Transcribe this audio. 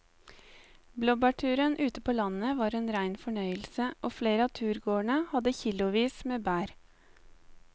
Blåbærturen ute på landet var en rein fornøyelse og flere av turgåerene hadde kilosvis med bær.